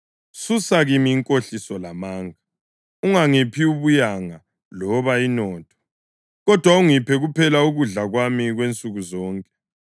Susa kimi inkohliso lamanga; ungangiphi ubuyanga loba inotho, kodwa ungiphe kuphela ukudla kwami kwansukuzonke.